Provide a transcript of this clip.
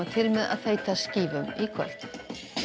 að þeyta skífum í kvöld